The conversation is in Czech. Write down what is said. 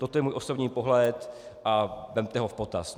Toto je můj osobní pohled a vezměte ho v potaz.